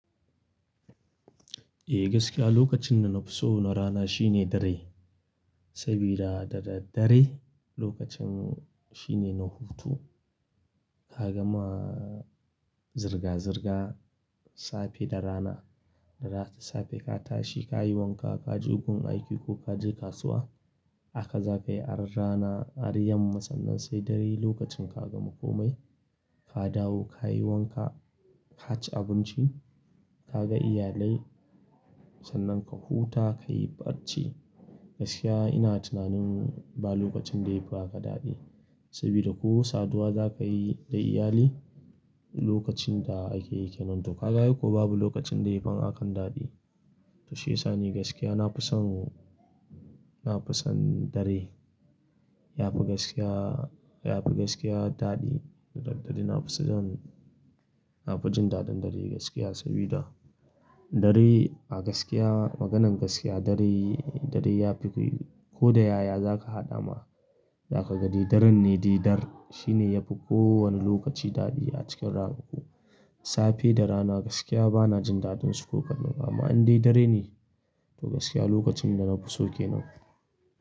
E, gaskiya lokacin da na fi so na rana shine dare. Sabida dada dare lokacin shine na hutu, ka gama zirga-zirga safe da rana, da safe ka tashi ka yi wanka, ka je wurin aiki ko ka je kasuwa. Aka za ka yi har rana har yamma sannan sai dare lokacin ka gama komai, ka dawo ka yi wanka, ka ci abinci, ka ga iyalai sannan ka huta ka yi barci. Gaskiya ina tunanin ba lokacin da yafi aka daɗi sabida ko saduwa za ka yi da iyali lokacin da ake yake nan to ka ga ai ko babu lokacin da yafi hakan daɗi. Shi ya sa ni gaskiya na fi son, na fi son dare. Yafi gaskiya, yafi gaskiya daɗi. Daddare na fi son, na fi jin daɗin dare gaskiya sabida dare a gaskiya maganan gaskiya dare, dare yafi koyi. Ko da yaya za ka haɗa ma, za ka ga didaren ne didar. Shi ne yafi ko wane lokaci daɗi a cikin ranaku. Safe da rana gaskiya bana jin daɗinsu ko kaɗan amma in dai dare ne to gaskiya lokacin da na fi so ke nan.